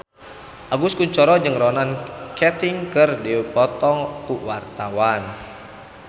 Agus Kuncoro jeung Ronan Keating keur dipoto ku wartawan